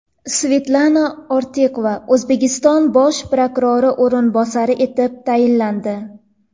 Svetlana Ortiqova O‘zbekiston bosh prokurori o‘rinbosari etib tayinlandi.